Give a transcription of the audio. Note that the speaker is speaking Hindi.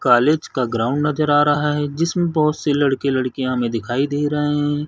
कॉलेज का ग्राउंड नजर आ रहा है जिसमें बहोत से लड़के -लडकियाँ हमें दिखाई दे रहे हैं ।